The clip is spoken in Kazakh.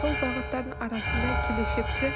сол бағыттардың арасында келешекте